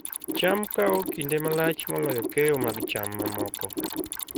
cham kawo kinde malach moloyo keyo mag cham mamoko